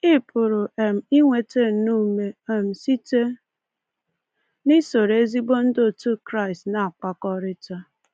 Ị pụrụ um inweta nnọọ ume um site n’isoro ezigbo ndị otu Kraịst na-akpakọrịta.